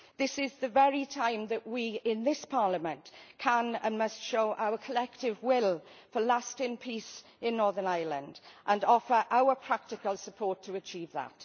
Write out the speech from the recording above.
This is the very time that we in this Parliament can and must show our collective will for lasting peace in Northern Ireland and offer our practical support to achieve that.